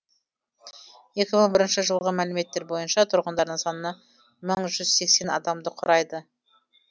екі мың бірінші жылғы мәліметтер бойынша тұрғындарының саны мың жүз сексен адамды құрайды